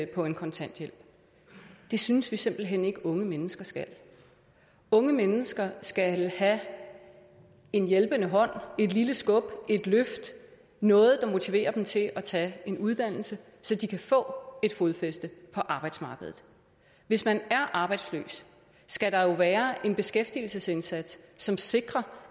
på en kontanthjælp det synes vi simpelt hen ikke unge mennesker skal unge mennesker skal have en hjælpende hånd et lille skub et løft noget der motiverer dem til at tage en uddannelse så de kan få et fodfæste på arbejdsmarkedet hvis man er arbejdsløs skal der jo være en beskæftigelsesindsats som sikrer